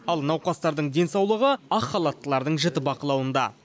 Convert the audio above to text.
ал науқастардың денсаулығы ақ халаттылардың жіті бақылауында